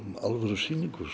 alvöru sýningu